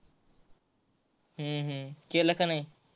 हम्म हम्म केल का नाही.